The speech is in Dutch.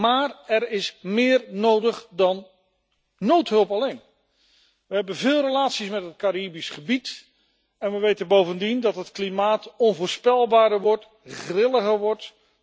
Maar er is meer nodig dan noodhulp alleen. We hebben veel relaties met het Caribisch gebied en we weten bovendien dat het klimaat onvoorspelbaarder en grilliger wordt.